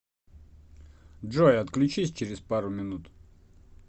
джой отключись через пару минут